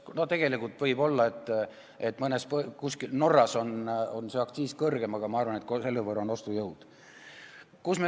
No võib olla, et Norras on see aktsiis suhtarvuna veel kõrgem, aga ma arvan, et selle võrra on ostujõud seal suurem.